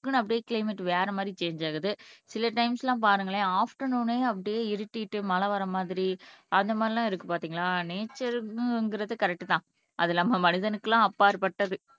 டக்குனு அப்படியே கிளைமேட் வேற மாதிரி சாஞ்சு ஆகுது சில டைம்ஸ் எல்லாம் பாருங்களேன் அஃபிடேர்நூன்னே அப்படியே இருட்டிட்டு மழை வர மாதிரி அந்த மாதிரி எல்லாம் இருக்கு பார்த்தீங்களா நேச்சர்ங்கிறது கரெக்ட் தான் அது இல்லாம மனிதனுக்கு எல்லாம் அப்பாற்பட்டது